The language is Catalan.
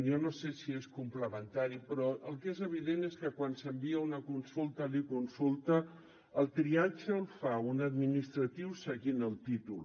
jo no sé si és complementari però el que és evident és que quan s’envia una consulta a l’econsulta el triatge el fa un administratiu seguint el títol